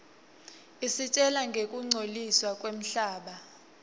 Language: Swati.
isitjela ngekungcoliswa kwemhlaba